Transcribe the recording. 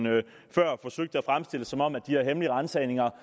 før forsøgte at fremstille det som om de her hemmelige ransagninger